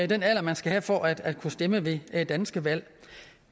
den alder man skal have for at kunne stemme ved danske valg